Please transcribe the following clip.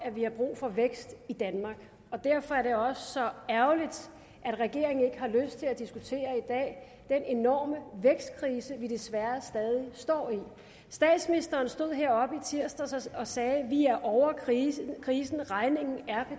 vi har brug for vækst i danmark derfor er det også så ærgerligt at regeringen i har lyst til at diskutere den enorme vækstkrise vi desværre stadig står i statsministeren stod heroppe i tirsdags og sagde at vi er ovre krisen krisen regningen er